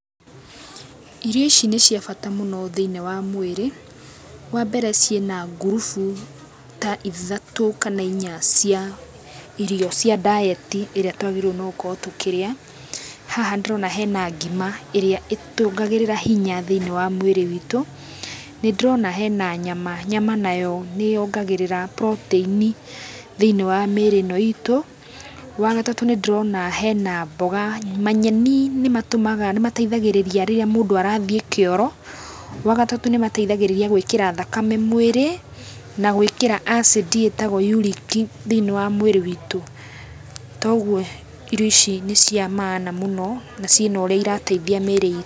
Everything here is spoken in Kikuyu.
Irio ici nĩ cia bata mũno thĩinĩ wa mwĩrĩ, wa mbere ciĩ na ngurubu ta ithatũ kana inya cia irio cia ndayeti ĩrĩa twagĩrĩirwo nĩgũkorwo tũkĩrĩa, haha nĩndĩrona hena ngima ĩrĩa ĩtuongagĩrĩra hinya thĩinĩ wa mwĩrĩ witũ, nĩndĩrona hena nyama, nyama nayo nĩyongagĩrĩra protein thĩinĩ wa mĩĩrĩ ĩno itũ, wa gatatũ nĩ ndĩrona hena mboga, manyeni nĩ mateithagĩrĩria rĩrĩa mũndũ arathiĩ kĩoro, rwa gatatũ nĩmateithagĩrĩria gwĩkĩra thakame mwĩrĩ na gũĩkĩra acid ĩtagwo yuriki thĩinĩ wa mwĩrĩ witũ. Toguo irio ici nĩ cia maana mũno na ciĩ na ũrĩa irateithia mĩĩrĩ.